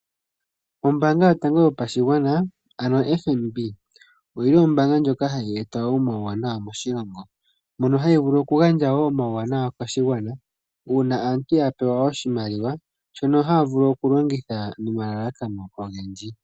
Ombaanga yotango yopashigwana oyili Ombaanga ndjoka hayi eta omuwanawa moshilongo, mono hayi vulu oku gandja woo omauwanawa koshigwana, uuna aantu ya pewa oshimaliwa, shono haya vulu oku longitha nomalalakano ogendji.